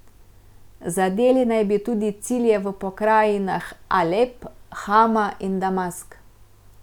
Zadeli naj bi tudi cilje v pokrajinah Alep, Hama in Damask.